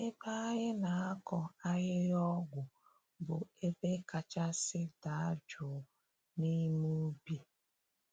Ebe anyị na-akọ ahịhịa ọgwụ bụ ebe kachasị daa jụụ n’ime ubi.